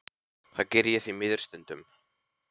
Það geri ég því miður stundum.